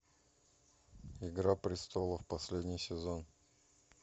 игра престолов последний сезон